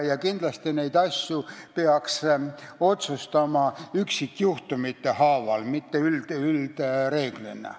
Ja kindlasti peaks neid asju otsustama üksikjuhtumite haaval, mitte üldreegli alusel.